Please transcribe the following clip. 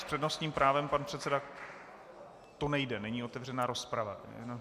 S přednostním právem pan předseda - to nejde, není otevřena rozprava.